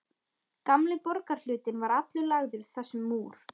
Gamli borgarhlutinn var allur lagður þessum múr.